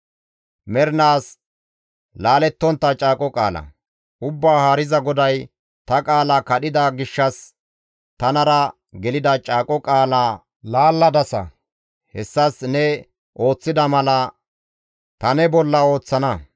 Ubbaa Haariza GODAY, «Ta qaala kadhida gishshas tanara gelida caaqo qaalaa laalladasa; hessas ne ooththida mala ta ne bolla ooththana.